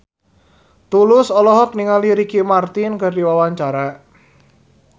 Tulus olohok ningali Ricky Martin keur diwawancara